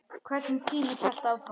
Hvernig tíminn hélt áfram.